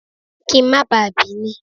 Kí n má bá a bì í ni.